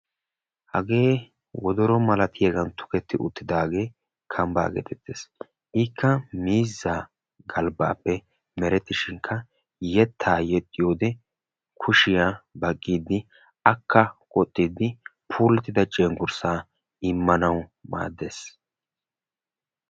Hagee wodoro malatiyaagan tuketti uttidagee kambbaa getettees. ikka miizzaa galbbaappe meretteshinkka yettaa yexxiyoo wode kushshiyaa baqqidi akka oottiidi puulttida cengurssa immanawu maaddees.